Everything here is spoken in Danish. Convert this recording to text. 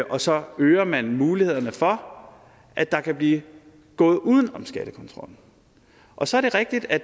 og så øger man mulighederne for at der kan blive gået uden om skattekontrollen og så er det rigtigt at